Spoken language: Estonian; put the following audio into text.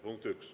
Punkt üks.